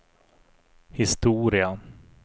historia